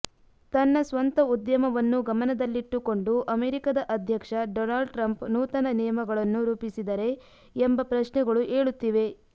ತನ್ನ ಸ್ವಂತ ಉದ್ಯಮವನ್ನು ಗಮನದಲ್ಲಿಟ್ಟುಕೊಂಡು ಅಮೆರಿಕದ ಅಧ್ಯಕ್ಷ ಡೊನಾಲ್ಡ್ ಟ್ರಂಪ್ ನೂತನ ನಿಯಮಗಳನ್ನು ರೂಪಿಸಿದರೆ ಎಂಬ ಪ್ರಶ್ನೆಗಳು ಏಳುತ್ತಿವೆ